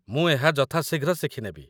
ମୁଁ ଏହା ଯଥା ଶୀଘ୍ର ଶିଖି ନେବି